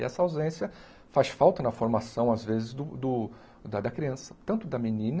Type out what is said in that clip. E essa ausência faz falta na formação, às vezes, do do da da criança, tanto da menina,